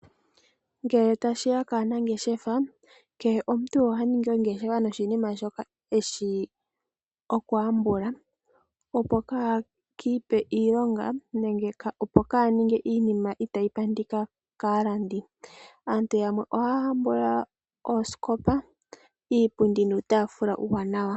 Ngele tashi ya kaanangeshefa, kehe omuntu oha ningi ongeshefa noshinima shoka e shi okuhambula, opo kee ki ipe iilonga nenge kaa ninge iinima itayi pandika kaalandi. Aantu yamwe ohaya hambula oosikopa, iipundi nuutaafula uuwanawa.